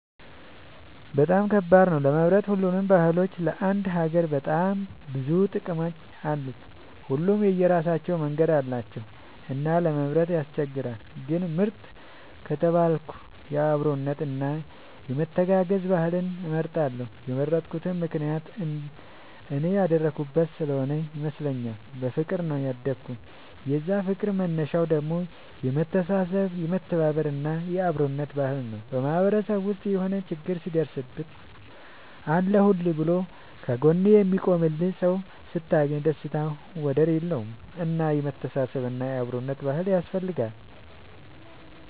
በጣም ከባድ ነው ለመምረጥ ሁሉም ባህሎች ለአንድ ሀገር በጣም ብዙ ጥቅም አላቸው። ሁሉም የራሳቸው መንገድ አላቸው እና ለመምረጥ ያስቸግራል። ግን ምርጥ ከተባልኩ የአብሮነት እና የመተጋገዝ ባህልን እመርጣለሁ የመረጥኩት ምክንያት እኔ ያደኩበት ስሆነ ይመስለኛል። በፍቅር ነው ያደኩት የዛ ፍቅር መነሻው ደግሞ የመተሳሰብ የመተባበር እና የአብሮነት ባህል ነው። በማህበረሰብ ውስጥ የሆነ ችግር ሲደርስብህ አለሁልህ ብሎ ከ ጎንህ የሚቆምልህ ሰው ስታገኝ ደስታው ወደር የለውም። እና የመተሳሰብ እና የአብሮነት ባህል ያስፈልጋል